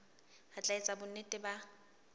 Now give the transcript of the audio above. re tla etsa bonnete ba